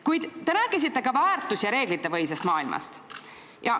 Kuid te rääkisite ka väärtus- ja reeglitepõhisest maailmast.